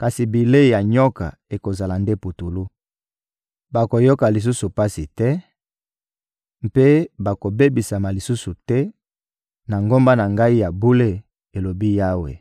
kasi bilei ya nyoka ekozala nde putulu. Bakoyoka lisusu pasi te, mpe bakobebisama lisusu te na ngomba na Ngai ya bule,» elobi Yawe.